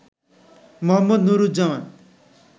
Md. Nuruzzaman